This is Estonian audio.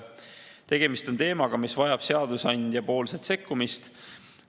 Tegemist on teemaga, mis vajab seadusandja sekkumist.